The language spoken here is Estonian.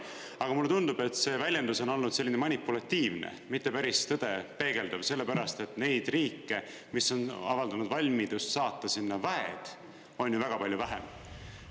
Aga mulle tundub, et see väljendus on olnud selline manipulatiivne, mitte päris tõde peegeldav, sellepärast et neid riike, mis on avaldanud valmidust saata sinna väed, on ju väga palju vähem.